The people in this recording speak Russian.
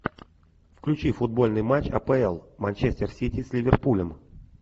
включи футбольный матч апл манчестер сити с ливерпулем